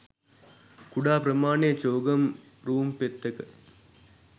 කුඩා ප්‍රමාණයේ චෝගම් රූං පෙත්තක